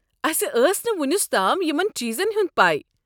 اسہ ٲس نہٕ وُنیُس تام یمن چیٖزن ہُنٛد پاے۔